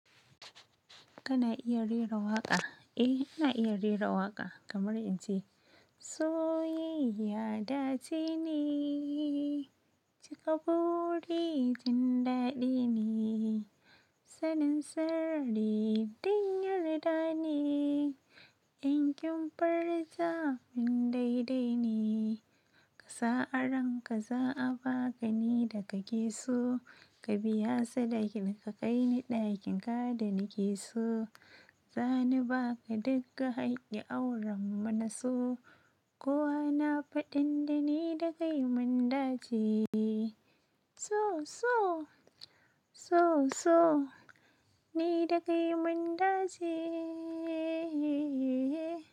Kana iya rera waƙa, eh ina iya rera waƙa kamar ince, sayayya dace ne cika buri jin dadi ne sanin sirri ɗin yarda ne, inkin furta min daidai ne. Kasa aranka za a baka ni daka keso, ka biya sadakin ka kai ni ɗakin ka da ni keso. Zani baka dikka hakkin aurenmu naso. Kowa na faɗin da ni da kai mun dace. So so, so so, ni da kai mun dace.